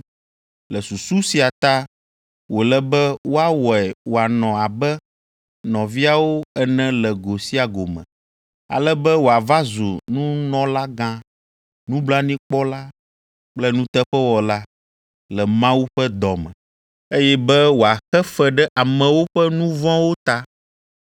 Le susu sia ta wòle be woawɔe wòanɔ abe nɔviawo ene le go sia go me, ale be wòava zu nunɔlagã, nublanuikpɔla kple nuteƒewɔla le Mawu ƒe dɔ me, eye be wòaxe fe ɖe amewo ƒe nu vɔ̃wo ta.